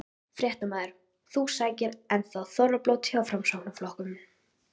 Fréttamaður: Þú sækir enn þá þorrablót hjá Framsóknarflokknum?